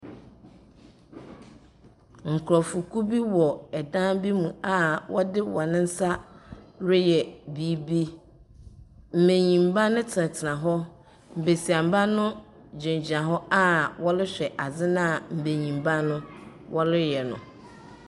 Nkurɔfokuo bi wɔ dan bi mu a wɔde wɔn nsa reyɛ biribi. Mbenyimba no tenatena hɔ. Besiamba no gyinagyina hɔ a wɔrehwɛ adze no a mbenyimba no wɔreyɛ no.